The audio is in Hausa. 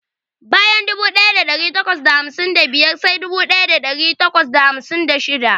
Bayan dubu daya dari takwas da hamsin da biyar sai dubu daya dari takwas da hamsin da shida.